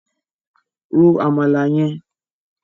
Ro Àmàlà yẹn!